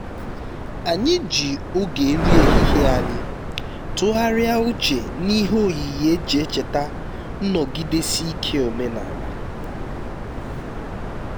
anyị ji oge nri ehihie anyị tụgharịa uche n'ihe oyiyi e ji echeta nnọgidesi ike omenala